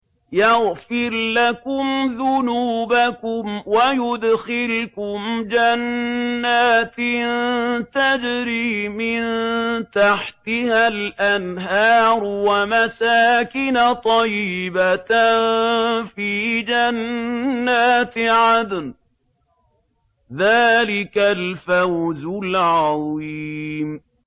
يَغْفِرْ لَكُمْ ذُنُوبَكُمْ وَيُدْخِلْكُمْ جَنَّاتٍ تَجْرِي مِن تَحْتِهَا الْأَنْهَارُ وَمَسَاكِنَ طَيِّبَةً فِي جَنَّاتِ عَدْنٍ ۚ ذَٰلِكَ الْفَوْزُ الْعَظِيمُ